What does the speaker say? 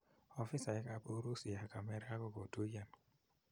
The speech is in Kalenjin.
Ofisaek ap urusi ak amerika kokotuyan